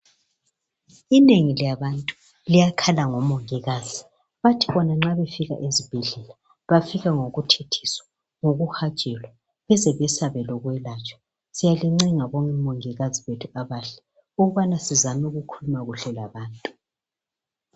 Inengi labantu liyakhala ngomongikazi bathi bona nxa befika ezibhedlela bafika ngokuthethiswa ngokuhajelwa beze besabe lokwelatshwa siyalincenga bomongikazi bethu abahle ukubana sizame ukukhuluma kuhle labantu.